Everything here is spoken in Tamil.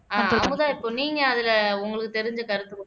ஆஹ் அமுதா நீங்க அதுல உங்களுக்கு தெரிஞ்ச கருத்து கொஞ்சம்